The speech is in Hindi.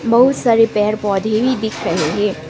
बहुत सारे पेड़ पौधे भी दिख रहें हैं।